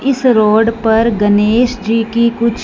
इस रोड पर गनेश जी की कुछ--